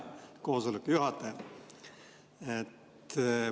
Hea koosoleku juhataja!